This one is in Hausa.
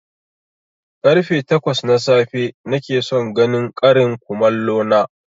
Karfe takwas na safe nakeson ganin ƙarin komallo na